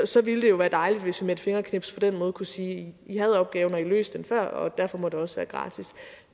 så ville det jo være dejligt hvis vi med et fingerknips på den måde kunne sige i havde opgaven og i løste den før og derfor må det også være gratis